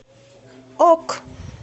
ок